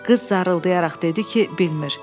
Qız zarılıdayaraq dedi ki, bilmir.